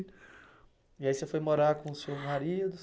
E aí você foi morar com o seu marido?